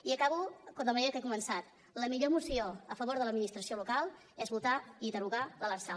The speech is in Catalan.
i acabo de la manera que he començat la millor moció a favor de l’administració local és votar i derogar l’lrsal